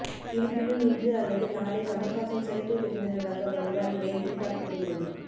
இருப்பினும் இன்று அல்லது நாளை கமல்ஹாசன் சிறப்பு விருந்தினராக வருவார் என எதிர்பார்க்கப்படுகிறது